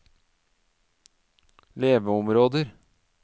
leveområder